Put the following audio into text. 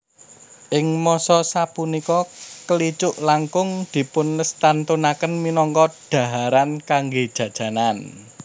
Ing masa sapunika kelicuk langkung dipunlestantunaken minangka dhaharan kanggé jajanan